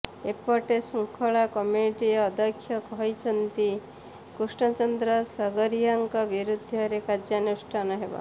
ଏପଟେ ଶୃଙ୍ଖଳା କମିଟି ଅଧ୍ୟକ୍ଷ କହିଛନ୍ତି କୃଷ୍ଣଚନ୍ଦ୍ର ସଗରିଆଙ୍କ ବିରୋଧରେ କାର୍ଯ୍ୟାନୁଷ୍ଠାନ ହେବ